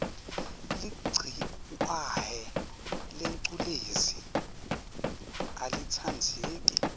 ligciwahe lengculezi alitsandzeki